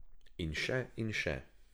In še in še.